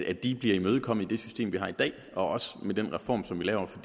at de bliver imødekommet i det system vi har i dag også med den reform som vi laver for